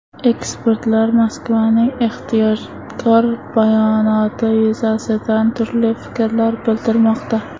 Ekspertlar Moskvaning ehtiyotkor bayonoti yuzasidan turli fikrlar bildirmoqda.